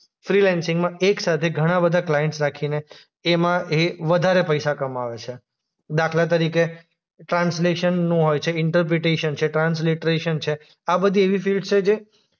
ફ્રીલેન્સિંગમાં એકસાથે ઘણાબધા ક્લાઈન્ટસ રાખીને એમાં એ વધારે પૈસા કમાવે છે. દાખલા તરીકે ટ્રાન્સલેશનનું હોય છે, ઈન્ટરપ્રીટિસન છે, ટ્રાન્સ્લેટ્રેશન છે. આ બધી એવી ફિલ્ડ્સ છે જે